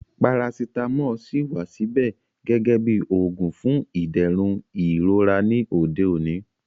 Parasitamọ ṣíì wà síbẹ̀ gẹ́gẹ́ bí oògùn fún ìdẹ̀rùn ìrora ní òde òní